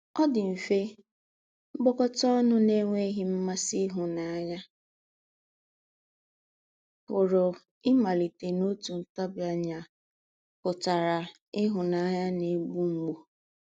“Ọ̀ dì̄ mfè, mkpókòtá ọnù na-ànwé̄ghị̄ ḿmàsí ìhù̀náńyà pụ̀rù ímálítè n’òtù ntábìánya pụ̀tàrà ìhù̀náńyà na-ègbú mgbù.”